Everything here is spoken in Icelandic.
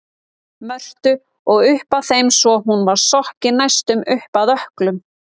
Mörtu og upp að þeim svo hún var sokkin næstum upp að ökklum.